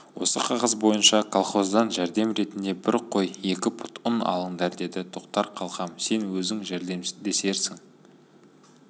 осы қағаз бойынша колхоздан жәрдем ретінде бір қой екі пұт ұн алыңдар деді тоқтар қалқам сен өзің жәрдемдесерсің